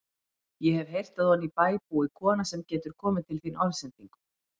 Ég hef heyrt að oní bæ búi kona sem getur komið til þín orðsendingu.